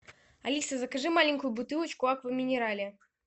алиса закажи маленькую бутылочку аква минерале